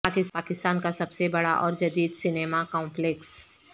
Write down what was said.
پاکستان کا سب سے بڑا اور جدید سنیما کمپلیکس